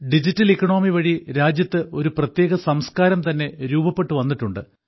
digital economy വഴി രാജ്യത്ത് ഒരു പ്രത്യേക സംസ്കാരം തന്നെ രൂപപ്പെട്ടു വന്നിട്ടുണ്ട്